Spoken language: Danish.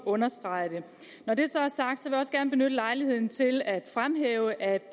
understrege det når det så er sagt vil jeg også gerne benytte lejligheden til at fremhæve at